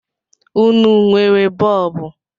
Ụnụ nwere bọọbụ?